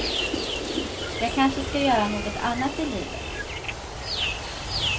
Jag kanske ska göra något annat i livet.